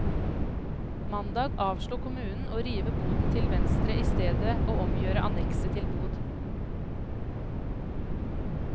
Mandag avslo kommunen å rive boden til venstre i stedet og omgjøre annekset til bod.